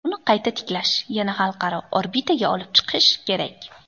Uni qayta tiklash, yana xalqaro orbitaga olib chiqish kerak.